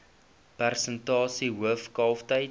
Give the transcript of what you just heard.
persentasie hoof kalftyd